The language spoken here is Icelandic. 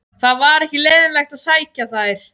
Það var ekki leiðinlegt að sækja þær.